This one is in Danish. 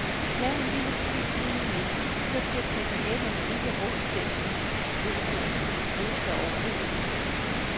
Lav en lille fordybning i midten, så bliver krebinetterne ikke rå i centrum, hvis du ønsker dem rosa over det hele.